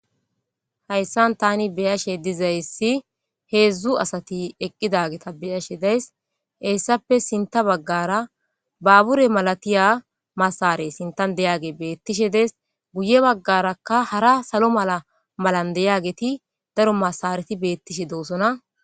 hayssan tani beyashe dizayssi heedzdzu asati eqqidageta beyashe days heyssappe sinta baggara baabure malatiya masare sintan deyage beettishe dees guye baggarakka hara salo mala malan deyageti daro masareti beettishe doosona